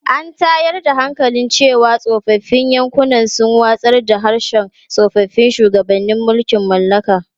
An tayar da hankali cewa tsofaffin yankunan sun watsar da harshen tsoffin shugabannin mulkin mallaka.